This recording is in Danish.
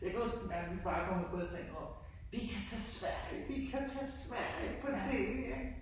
Jeg kan huske en mærkelig dag min far kom ud på altanen og råbte vi kan tage Sverige! Vi kan tage Sverige! på tv, ik.